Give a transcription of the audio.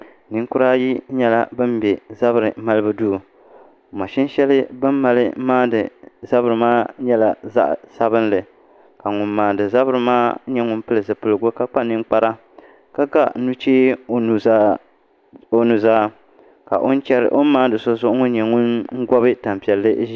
Ninkura ayi nyɛla bin bɛ zabiri malibu duu mashin shɛli bi ni mali maandi zabiri maa nyɛla zaɣ sabinli ka ŋun maandi zabiri maa nyɛ ŋun pili zipiligu ka kpa ninkpara ka ga nuchee o nuzaa ka o ni maandi so zuɣu ŋo nyɛ ŋun gobi tanpiɛlli ʒiya